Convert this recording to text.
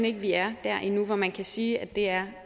ikke at vi er der endnu hvor man kan sige at det er